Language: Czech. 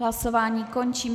Hlasování končím.